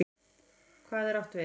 HVAÐ er átt við?